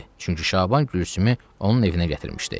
Çünki Şaban Gülsümü onun evinə gətirmişdi.